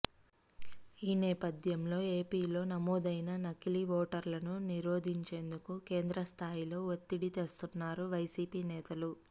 ఈ నేపథ్యంలో ఏపీలో నమోదైన నకిలీ ఓటర్లను నిరోధించేందుకు కేంద్రస్థాయిలో వత్తిడి తెస్తున్నారు వైసీపీ నేతలు